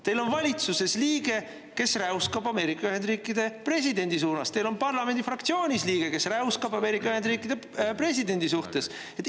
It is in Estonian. Teil on valitsuses liige, kes räuskab Ameerika Ühendriikide presidendi suunas, teil on parlamendi fraktsioonis liige, kes räuskab Ameerika Ühendriikide presidendi suhtes.